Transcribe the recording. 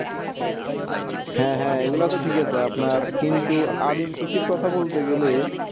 হ্যাঁ হ্যাঁ এইগুলো তো ঠিক আছে আপনার কিন্তু আদিম কৃষি র কথা বলতে গেলে